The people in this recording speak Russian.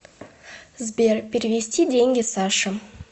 сбер перевести деньги саше